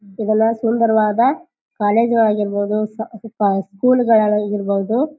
ಇದೆಲ್ಲಾ ಸುಂದರವಾದ ಕಾಲೇಜ ವಳಗ್ ಇರಬಹುದು ಸ್ ಸ್ಪಾ ಸ್ಕೂಲ್ ಗಲ್ಲಲ್ಲಿ ಇರಬಹುದು --